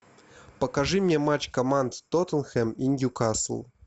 покажи мне матч команд тоттенхэм и ньюкасл